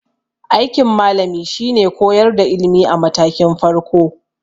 Aikin malami shine koyar da ilimi a matakin farko.